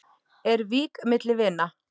Er vík milli vina?